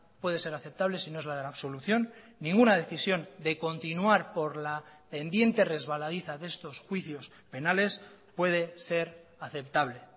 puede ser aceptable si no es la de la absolución ninguna decisión de continuar por la pendiente resbaladiza de estos juicios penales puede ser aceptable